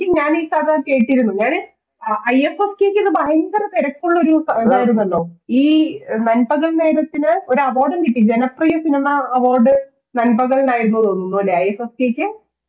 ഞാൻ ഈ കഥ കേട്ടിരുന്നു ഞാന് i f f k കു ഏതു ഭയങ്കര തിരക്കുള്ളൊരു ഇതായിരുന്നല്ലോ ഈ നൻപകൽ നേരത്തിനു ഒരു award ഡും കിട്ടി ജനപ്രിയ cinema Award നൻപകൽ നു ആയിരുന്നുയെന്നുതോന്നുന്നുലെ i f f k കു